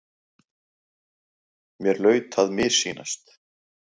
Mér hlaut að missýnast.